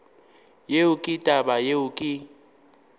yeo ke taba yeo ke